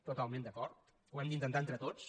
totalment d’acord ho hem d’intentar entre tots